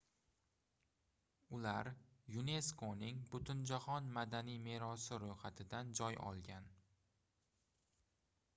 ular yuneskoning butunjahon madaniy merosi roʻyxatidan joy olgan